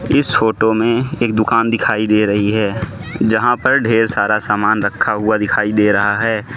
इस फोटो मे एक दुकान दिखाई दे रही है जहां पर ढेर सारा समान रखा हुआ दिखाई दे रहा है।